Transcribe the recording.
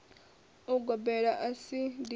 ya ugobela a si dindi